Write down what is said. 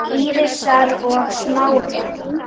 Og Eyja bætir síðan við